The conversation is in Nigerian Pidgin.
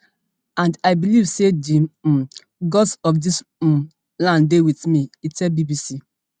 and i believe say di um gods of dis um land dey wit me e tell bbc